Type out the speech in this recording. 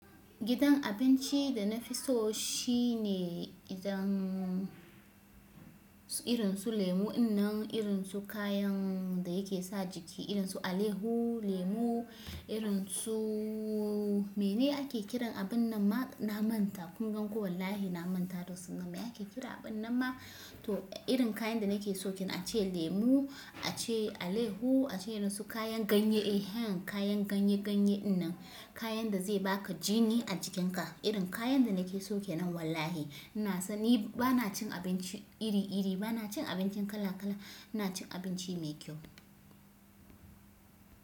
Gidan abinci da na fi so shi ne idan irin su lemu in nan irin su kayan da yake sa jiki irin su alehu lemu irin su mene ake kiran abun nan ma na manta kun gan ko wallahi na manta dosan nan me ake kira abun nan ma to irin kayan da na ke so ke nan ace lemu ace alehu ace irin su kayan ganye eh han kayan ganye-ganye in nan kayan da zai baka jini a jikin ka irin kayan da na ke so ke nan wallahi ina san ni bana cin abinci iri-iri bana cin abinci kala-kala na cin abinci mai kyau.